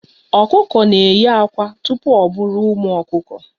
Okuko na eyi akwa tupu o buru ụmụ okuku.